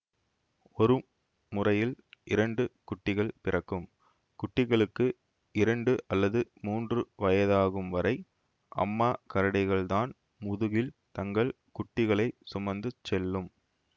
ஒரு முறையில் இரண்டு குட்டிகள் பிறக்கும் குட்டிகளுக்கு இரண்டு அல்லது மூன்று வயதாகும் வரை அம்மாக் கரடிகள்தான் முதுகில் தங்கள் குட்டிகளைச் சுமந்து செல்லும்